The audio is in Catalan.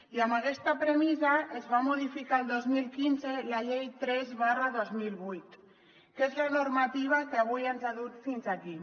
i amb aquesta premissa es va modificar el dos mil quinze la llei tres dos mil vuit que és la normativa que avui ens ha dut fins aquí